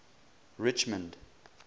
richmond